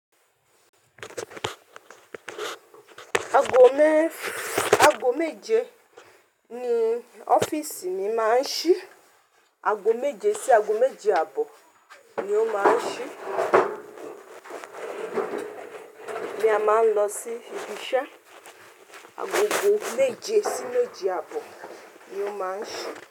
Aago mé-aago méje ni ọ́fíìsì mi máa ń ṣí. Aago méje sí aago méje àbọ̀ ni ó máa ń ṣí, ní a máa ń lọ sí ibi iṣẹ́. Aago méje sí méje àbọ̀ ni ó máa ń ṣí.